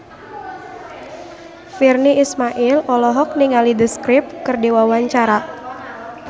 Virnie Ismail olohok ningali The Script keur diwawancara